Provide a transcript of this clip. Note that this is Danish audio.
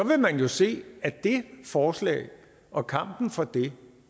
vil man se at det forslag og kampen for det